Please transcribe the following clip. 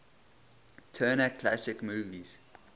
turner classic movies